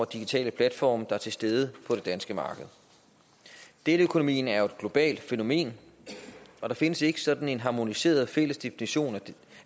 digitale platforme er til stede på det danske marked deleøkonomien er jo et globalt fænomen og der findes ikke sådan en harmoniseret fælles definition